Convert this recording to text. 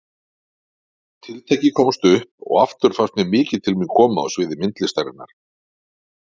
Tiltækið komst upp og aftur fannst mér mikið til mín koma á sviði myndlistarinnar.